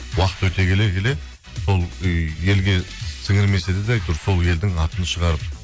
уақыт өте келе келе сол ы елге сіңірмесе де әйтеуір сол елдің атын шығарып